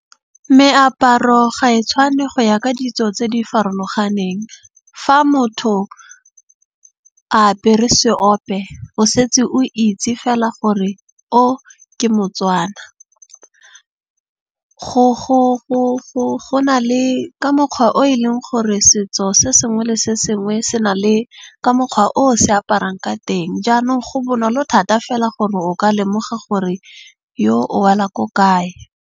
Meaparo ga e tshwane go ya ka ditso tse di farologaneng. Fa motho a apere seope o setse o itse fela gore o ke mo-Tswana. Go na le ka mokgwa o e leng gore setso se sengwe le sengwe se na le ka mokgwa o se aparang ka teng. Jaanong go bonolo thata fela gore o ka lemoga gore yo o wela ko kae.